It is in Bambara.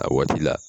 A waati la